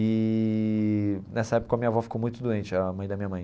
Eee nessa época a minha avó ficou muito doente, a mãe da minha mãe.